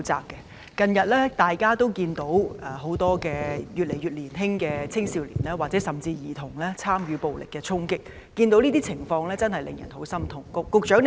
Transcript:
大家近日均可看到，有年紀越來越小的青少年甚至是兒童參與暴力衝擊，這情況實令人感到極之痛心。